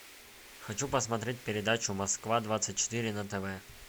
хочу посмотреть передачу москва двадцать четыре на тв